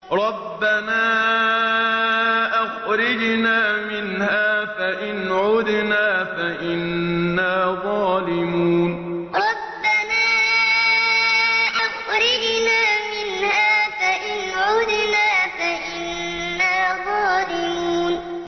رَبَّنَا أَخْرِجْنَا مِنْهَا فَإِنْ عُدْنَا فَإِنَّا ظَالِمُونَ رَبَّنَا أَخْرِجْنَا مِنْهَا فَإِنْ عُدْنَا فَإِنَّا ظَالِمُونَ